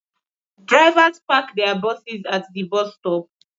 Drivers park their buses at the bus stop